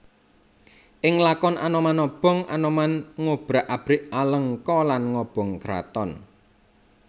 Ing lakon Anoman Obong Anoman ngobrak abrik Alengka lan ngobong kraton